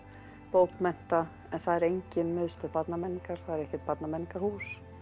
bókmennta en það er engin Miðstöð barnamenningar það er ekkert barnamenningarhús